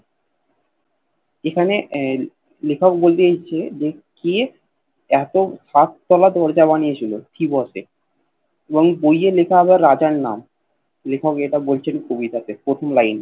এখানে এ লেখক বলতে চাইছে যে কে এত সাত তলা দরজা বানিয়েছিল থিবসে এবং বইয়ে লেখা হবে রাজার নাম লেখক এটা বলছেন কবিতাতে প্রথম লাইনে